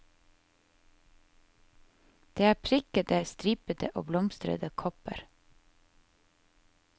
Det er prikkede, stripete og blomstrete kopper.